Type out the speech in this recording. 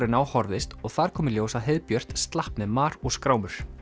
en á horfðist og þar kom í ljós að heiðbjört slapp með mar og skrámur